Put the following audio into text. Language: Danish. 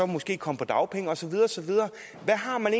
måske komme på dagpenge og så videre og så videre hvad har man